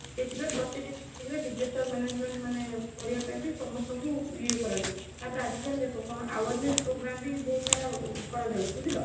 ସେଠିପାଇଁ ପ୍ରତି district ରେ disaster management ମାନେ କରିବା ପାଇଁ ବି ସମସ୍ତଙ୍କୁ ୟେ କରା ଯାଉଛି ତାପରେ ଆଜି କଲି ଦେଖ କଣ awareness program ବି ବହୁତ ସାରା କରା ଯାଉଛି ବୁଝିଲ?